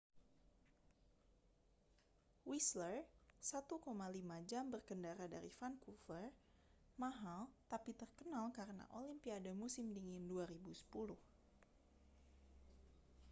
whistler 1,5 jam berkendara dari vancouver mahal tapi terkenal karena olimpiade musim dingin 2010